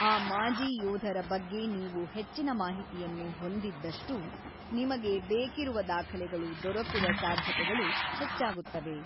ಆ ಮಾಜಿ ಯೋಧರ ಬಗ್ಗೆ ನೀವು ಹೆಚ್ಚಿನ ಮಾಹಿತಿಯನ್ನು ಹೊಂದಿದ್ದಷ್ಟೂ, ನಿಮಗೆ ಬೇಕಿರುವ ದಾಖಲೆಗಳು ದೊರಕುವ ಸಾಧ್ಯತೆಗಳು ಹೆಚ್ಚಾಗುತ್ತವೆ.